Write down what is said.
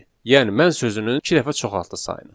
Yəni mən sözünün iki dəfə çoxaldı sayını.